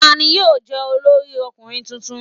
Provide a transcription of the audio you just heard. Ta ni yóò jẹ́ olórí ọkùnrin tuntun?